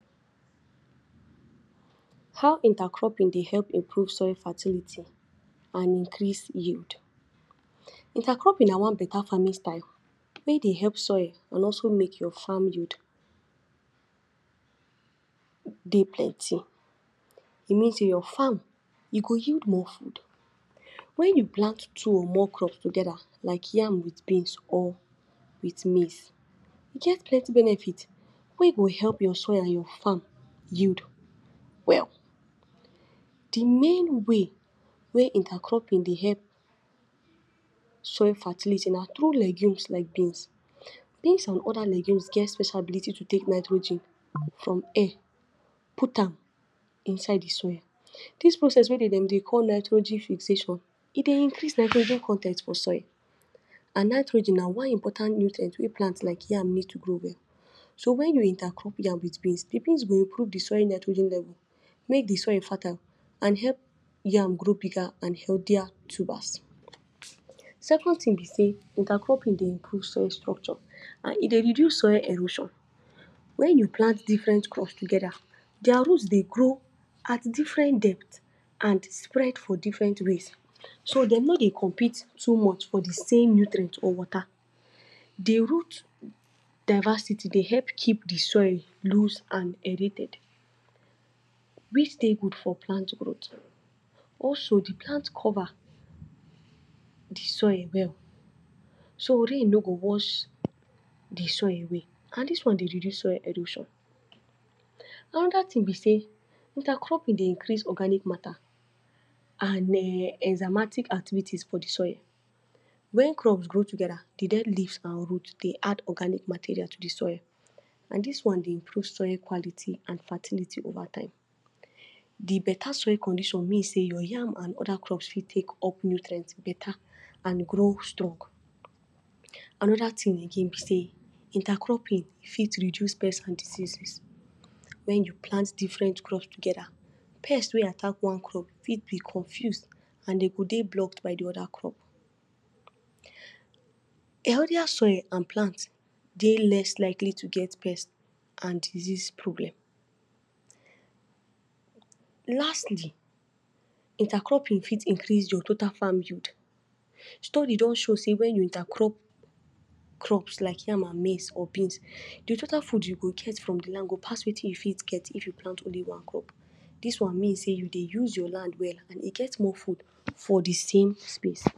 how inter cropping de help improve soil fertility and increase yield inter cropping na one better farming style wey dey help soil and also make your farm yield de plenty e mean say your farm e go yield more food when you plant two or more crop together like yam with beans or with maize e get plenty benefit wey go help your soil and your farm yield well the main way, wey inter cropping de help soil fertility na throug legumes like beans. beans and other legumes get special ability to take nitrogen from air put am inside de soil this process wey dem dey call nitrogen e dey increase nitrogen con ten t for soil and nitrogen na one important nutrient wey plant like yam need to grow well so when you inter crop yam with beans de beans go increase de soil nitrogen wey de make soil fertile and help yam to grow bigger and healthier tubers. second thing be say inter cropping dey improve soil structure and e dey reduce soil erosion when you plant different crop together their root dey grow at different depth and spread for different ways so dem no dey compete too much for de same nutrient or water de root diversity dey help keep de soil loose and aeriated which dey good for plant growth also de plant cover de soil well so rain no go wash d soil away and dis one dey reduce soil erosion another thing be say intercropping dey increase organic and enzymatic activities for de soil when crops grow together de dead leaves and root dey add organic material to the soil and dis one dey improve soil quality and fertility overtime de better soil condition mean say your yam and other crop fit take up nutrient better and grow strong. another thing be say inter cropping fit reduce pest and disease when you plant different crop together pest wey attack one crop fit dey confused and them go dey blocked by de other crop. Healthier soil and plant dey less likely to set pest and disease problem lastly inter cropping fit increase your total farm yield story don show say when you intercrop crops like yam and maize or beans de total food wey you go get from the land go pass watin you fit get if you plant only one crop this one mean say you dey use your land well and e get more food for the same space.